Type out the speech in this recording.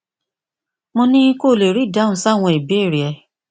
mo ní kí o lè rí ìdáhùn sí àwọn ìbéèrè rẹ